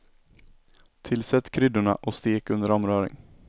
Tillsätt kryddorna och stek under omrörning.